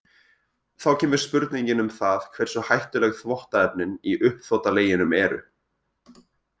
Þá kemur spurningin um það hversu hættuleg þvottaefnin í uppþvottaleginum eru.